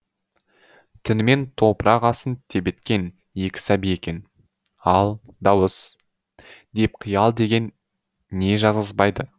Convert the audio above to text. түнімен топырақ астын тебеткен екі сәби екен ал дауыс деп қиял деген не жазғызбайды